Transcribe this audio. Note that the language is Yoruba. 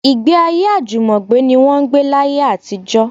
Ìgbéayé àjùmọ̀gbé ní wọ́n ń gbé láyé àtijọ́